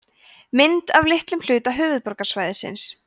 mynd af litlum hluta höfuðborgarsvæðisins